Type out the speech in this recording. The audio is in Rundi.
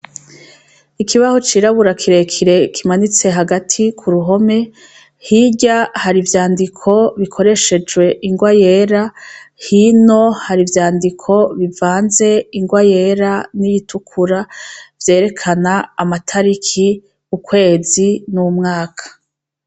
Ikibaho cirabura kirekire kimanitse hagati kuruhome, hirya har' ivyandiko bikoreshej' ingwa yera, hino har'ivyandiko bivanz' ingwa yera n'iyitukura, vyerekan' amatarik' ukwezi n' umwaka.